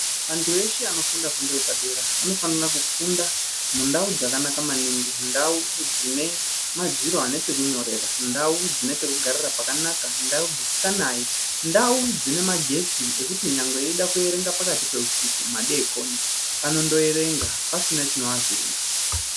Antu eshe anofunda fundo yepadera anofanira kufunda mundau dzakanaka maningi ndau dzine madziro ane pekunyorera. Ndau dzine pekugarira pakanaka ndau dzisikanai. Ndau dzine magetsi ekuti nyangwe eida kuerenga pakati peusiku madekoni ondoerenga pasina chinoavhiringa.